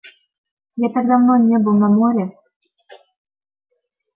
я так давно не был на море